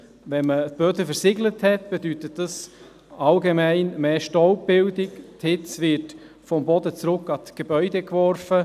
Wenn man Böden versiegelt hat, bedeutet das allgemein mehr Staubbildung, die Hitze wird vom Boden zurück an die Gebäude geworfen.